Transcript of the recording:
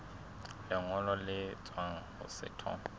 lengolo le tswang ho setho